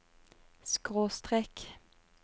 skråstrek